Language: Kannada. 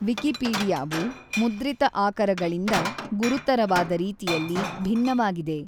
ವಿಕಿಪೀಡಿಯಾವು ಮುದ್ರಿತ ಆಕರಗಳಿಂದ ಗುರುತರವಾದ ರೀತಿಯಲ್ಲಿ ಭಿನ್ನವಾಗಿದೆ.